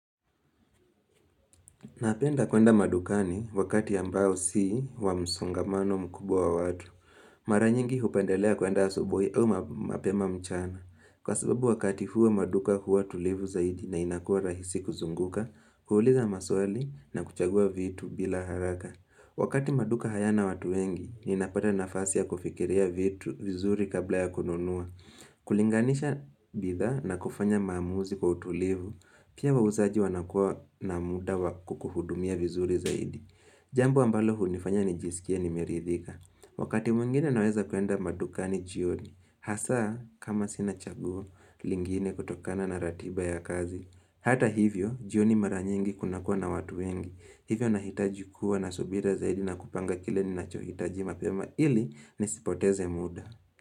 Napenda kwenda madukani wakati ambao si wa msongamano mkubwa wa watu. Mara nyingi hupendelea kwenda asubuhi au mapema mchana. Kwa sababu wakati huwa maduka huwa tulivu zaidi na inakua rahisi kuzunguka, huuliza maswali na kuchagua vitu bila haraka. Wakati maduka hayana watu wengi, ninapata nafasi ya kufikiria vitu vizuri kabla ya kununua. Kulinganisha bidhaa na kufanya maamuzi kwa utulivu Pia wauzaji wanakuwa na muda wa kukuhudumia vizuri zaidi Jambo ambalo hunifanya nijisikie nimeridhika Wakati mwingine naweza kwenda madukani jioni Hasa kama sina chaguo lingine kutokana na ratiba ya kazi Hata hivyo jioni mara nyingi kunakuwa na watu wengi Hivyo nahitaji kuwa na subira zaidi na kupanga kile ninachohitaji mapema ili nisipoteze muda.